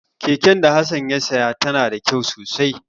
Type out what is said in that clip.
Keken da Hassan ya saya tana da kyau sosai.